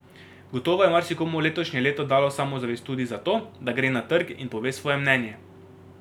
Gotovo je marsikomu letošnje leto dalo samozavest tudi za to, da gre na trg in pove svoje mnenje.